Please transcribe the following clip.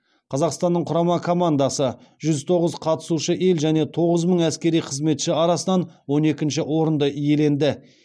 қазақстанның құрама командасы жүз тоғыз қатысушы ел және тоғыз мың әскери қызметші арасынан он екінші орынды иеленді